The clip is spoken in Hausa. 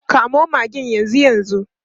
Kamo magen yanzu yanzu.